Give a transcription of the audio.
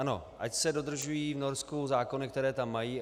Ano, ať se dodržují v Norsku zákony, které tam mají.